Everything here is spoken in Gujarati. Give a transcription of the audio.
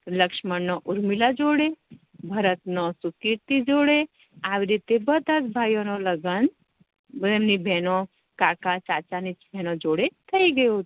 લક્ષ્મણ નો ઉર્મિલા જોડે ભરત નો સુકેતી જોડે આવી રીતે બેધા ભાઇઓ નું લગ્ન એમની બેનો કાકા ચાચા ની છોકરીયો જોડે થઇ ગયુ